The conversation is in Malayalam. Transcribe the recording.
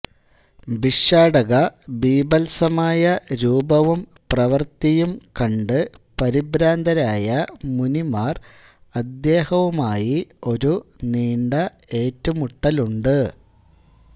ഭിക്ഷാടക ബീഭത്സമായ രൂപവും പ്രവൃത്തിയും കണ്ട് പരിഭ്രാന്തരായ മുനിമാർ അദ്ദേഹവുമായി ഒരു നീണ്ട ഏറ്റുമുട്ടലുണ്ട്